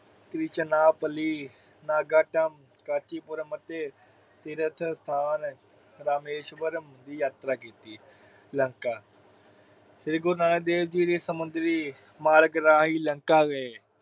ਤ੍ਰਿਚਨਾਪਾਲੀ, ਨਾਗਦਾਮ, ਕਸ਼ੀਪੁਰਮ ਅਤੇ ਤੀਰਥ ਸਥਾਨ ਰਾਮੇਸ਼ਵਰਮ ਦੀ ਯਾਤਰਾ ਕੀਤੀ। ਲੰਕਾ ਸ੍ਰੀ ਗੁਰੂ ਨਾਨਕ ਦੇਵ ਜੀ ਸਮੁੰਦਰੀ ਮਾਰਗ ਰਾਹੀਂ ਲੰਕਾ ਗਏ।